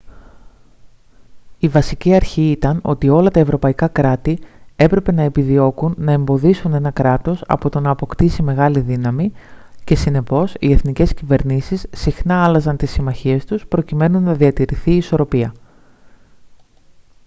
η βασική αρχή ήταν ότι όλα τα ευρωπαϊκά κράτη έπρεπε να επιδιώκουν να εμποδίσουν ένα κράτος από το να αποκτήσει μεγάλη δύναμη και συνεπώς οι εθνικές κυβερνήσεις συχνά άλλαζαν τις συμμαχίες τους προκειμένου να διατηρηθεί η ισορροπία